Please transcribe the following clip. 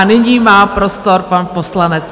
A nyní má prostor pan poslanec.